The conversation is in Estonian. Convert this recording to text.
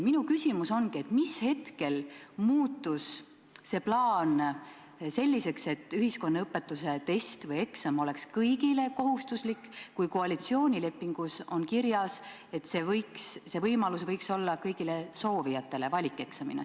Minu küsimus ongi, mis hetkel muutus see plaan selliseks, et ühiskonnaõpetuse test või eksam oleks kõigile kohustuslik, kui koalitsioonilepingus on kirjas, et see võimalus võiks olla kõigile soovijatele, st valikeksamina.